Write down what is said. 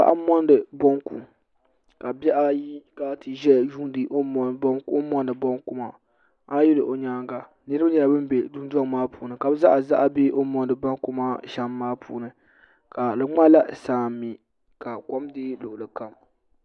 Dundɔŋ puuni ka bi bɛ paɣa so zala nyaanga sa o zala zuɣusaa ka bihi ayi za teebuli gbuni ka adaka tam teebuli maa zuɣu paɣa ʒila kuɣu zuɣu n mɔndi bɔnku ka o saɣavuɣili maa nyɛ saɣavuɣu waɣinli o zaŋ la bɔbi piɛlli n bɔbi ka yɛ liiga.